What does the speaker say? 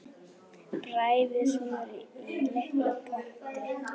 Bræðið smjörið í litlum potti.